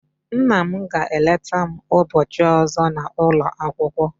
Nna m ga eleta m ubochi ozo na ulo akwukwo